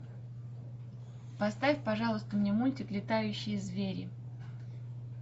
поставь пожалуйста мне мультик летающие звери